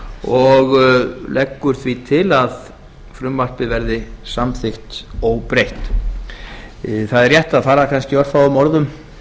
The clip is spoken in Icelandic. og leggur nefndin því til að frumvarpið verði samþykkt óbreytt það er rétt að fara kannski örfáum orðum